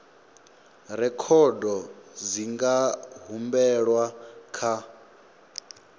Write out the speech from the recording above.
rekhodo dzi nga humbelwa kha